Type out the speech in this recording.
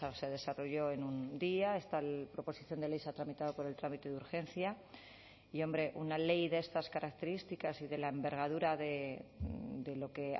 se desarrolló en un día esta proposición de ley se ha tramitado por el trámite de urgencia y hombre una ley de estas características y de la envergadura de lo que